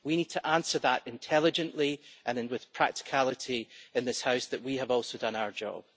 We need to answer, intelligently and with practicality in this House, that we have also done our job.